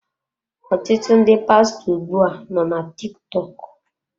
Ọtụtụ ndị pastọ ugbu a nọ na TikTok.